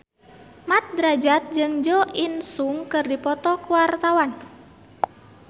Mat Drajat jeung Jo In Sung keur dipoto ku wartawan